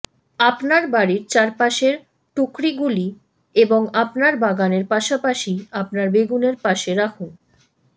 আপনার বাড়ির চারপাশের টুকরিগুলি এবং আপনার বাগানের পাশাপাশি আপনার বেগুনের পাশে রাখুন